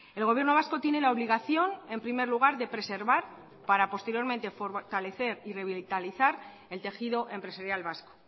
el gobierno vasco tiene la obligación en primer lugar de preservar para posteriormente fortalecer y revitalizar el tejido empresarial vasco